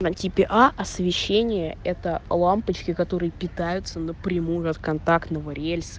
на типе а освещения это лампочки которые питаются напрямую от контактного рельса